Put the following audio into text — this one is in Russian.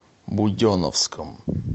буденновском